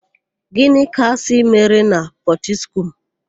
Gịnị ka a sị mere na Pọtiskum?